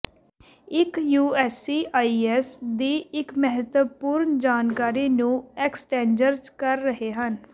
ਇੱਕ ਯੂਐਸਸੀਆਈਐਸ ਦੀ ਇੱਕ ਮਹੱਤਵਪੂਰਨ ਜਾਣਕਾਰੀ ਨੂੰ ਐਕਸਟੈਂਜਰਜ ਕਰ ਰਹੇ ਹਨ